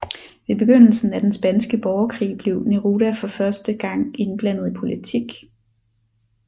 Ved begyndelsen af den spanske borgerkrig blev Neruda for første gang indblandet i politik